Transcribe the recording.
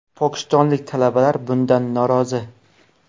Pokistonlik talabalar bundan norozi.